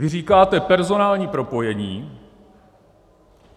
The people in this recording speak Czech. Vy říkáte personální propojení.